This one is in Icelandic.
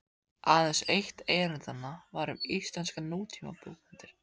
Aðeins eitt erindanna var um íslenskar nútímabókmenntir.